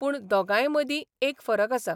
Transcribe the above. पूण दोगांयमदीं एक फरक आसा.